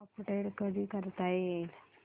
update कधी करता येईल